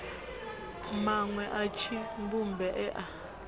manwe a tshidzumbe e a